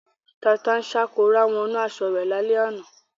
Tata-n-sánkọ rá wọnú aṣọ rẹ̀ lálẹ́ àná.